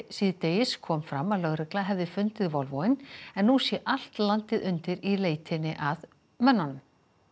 síðdegis kom fram að lögregla hefði fundið Volvoinn en nú sé allt landið undir í leitinni að mönnunum